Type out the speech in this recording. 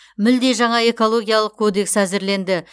мүлде жаңа экологиялық кодекс әзірленді